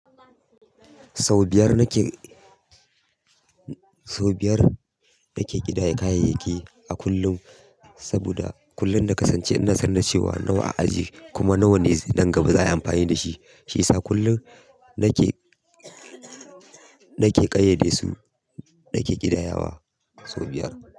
Sau biyar nake, sau biyar yake ƙidaye kayayyaki a kullum. Saboda kullum na kasance ina sane da cewa nawa a aje kuma nawa ne nan gaba za a yi amfani da shi. Shiyasa kullum nake, nake ƙayyade su, nake ƙidayawa sau biyar.